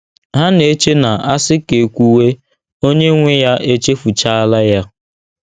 Ha na - eche na a sị ka e kwuwe, onye nwe ya echefuchaala ya.